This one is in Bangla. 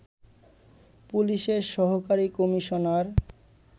পুলিশের সহকারী কমিশনার